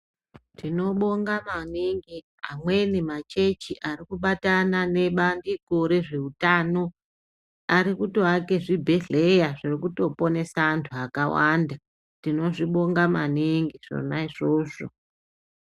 Tinobonga maningi amweni machechi ari kubatana nebandiko rezveutano. Ari kutoake zvibhedhleya zviri kutoponesa antu akawanda. Tinozvibonga maningi zvona izvozvo.